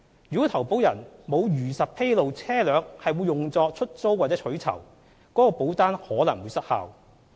如果投保人沒有如實披露車輛會用作出租或取酬，該保單可能會失效。